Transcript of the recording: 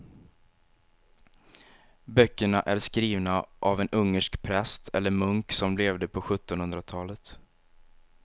Böckerna är skrivna av en ungersk präst eller munk som levde på sjuttonhundratalet.